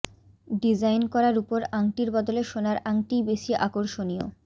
design করা রূপোর আংটির বদলে সোনার আংটিই বেশি আকর্ষণীয়